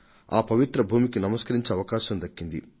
ఆ పవిత్ర భూమికి నమస్కరించే అవకాశం దక్కింది